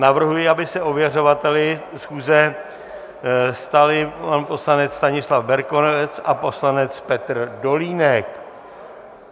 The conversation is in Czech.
Navrhuji, aby se ověřovateli schůze stali pan poslanec Stanislav Berkovec a poslanec Petr Dolínek.